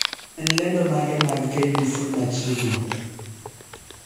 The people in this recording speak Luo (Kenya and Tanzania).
en lendo mage mag k.b.c machiegni